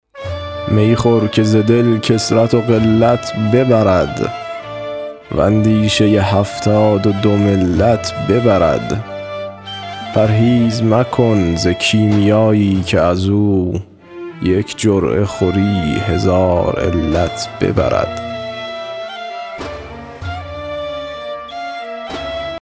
می خور که ز دل کثرت و قلت ببرد و اندیشه هفتاد و دو ملت ببرد پرهیز مکن ز کیمیایی که از او یک جرعه خوری هزار علت ببرد